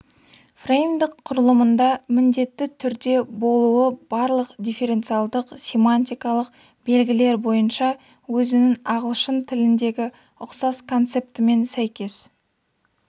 фреймдік құрылымында міндетті түрде болуы барлық дифференциалдық-семантикалық белгілер бойынша өзінің ағылшын тіліндегі ұқсас концептімен сәйкес